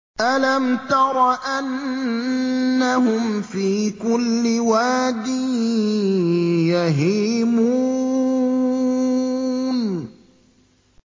أَلَمْ تَرَ أَنَّهُمْ فِي كُلِّ وَادٍ يَهِيمُونَ